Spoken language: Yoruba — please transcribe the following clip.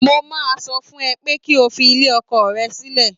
Mo máa sọ fún ẹ pé kí o fi ilé ọkọ rẹ sílẹ̀